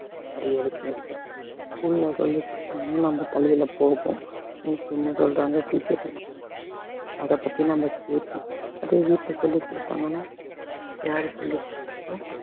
நிறைய வித்தியாசம் இருக்கு school ல சொல்லி கொடுத்தாங்கன்னா நம்ம தலையில போகும் miss என்ன சொல்றாங்க teachers என்ன சொல்றாங்க அதை பத்தி நம்ம கேட்போம் அதே வீட்டுல சொல்லி கொடுத்தாங்கன்னா யாரு சொல்லி கொடுத்தாலும்